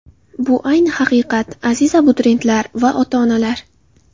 Bu ayni haqiqat, aziz abituriyentlar va ota-onalar!